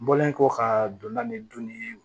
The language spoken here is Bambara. N bɔlen kɔ ka donna nin dunni